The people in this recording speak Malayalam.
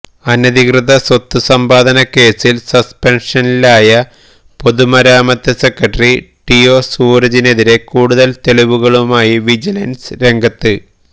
അനധികൃത സ്വത്ത് സമ്പാദനക്കേസില് സസ്പെന്ഷനിലായ പൊതുമരാമത്ത് സെക്രട്ടറി ടിഒ സൂരജിനെതിരെ കൂടുതല് തെളിവുകളുമായി വിജിലന്സ് രംഗത്ത്